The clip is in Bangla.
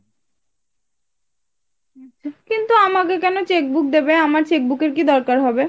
কিন্তু আমাকে কেন cheque book দেবে? আমার cheque book এর কি দরকার হবে ?